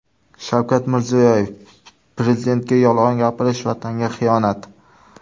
Shavkat Mirziyoyev: Prezidentga yolg‘on gapirish Vatanga xiyonat.